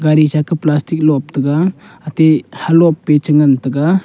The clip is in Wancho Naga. sa plastic aa lop taiga atai he lop pe cha ngan taiga.